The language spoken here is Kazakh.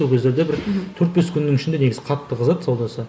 сол кездерде бір төрт бес күннің ішінде негізі қатты қызады саудасы